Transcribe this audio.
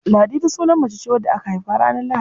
Ladidi sunan mace ce da aka haifa ranar Lahadi.